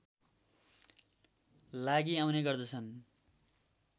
लागि आउने गर्दछन्